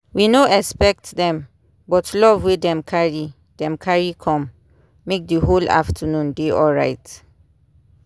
we no expect dem but love wey dem carry dem carry com make the whole afternoon dey alright